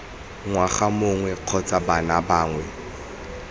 ngwana mongwe kgotsa bana bangwe